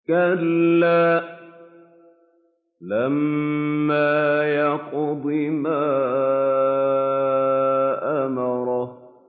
كَلَّا لَمَّا يَقْضِ مَا أَمَرَهُ